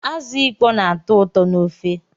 Azụ ịkpọ na-atọ ụtọ n'ofe